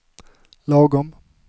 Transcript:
lagom